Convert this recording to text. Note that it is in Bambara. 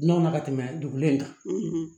N'o na ka tɛmɛ dugulen kan